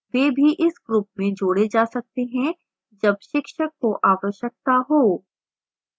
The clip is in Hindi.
वे भी इस group में जोडे जा सकते हैं जब शिक्षक को आवश्यकता हो